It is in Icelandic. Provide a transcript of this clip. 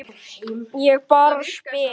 Ég bara spyr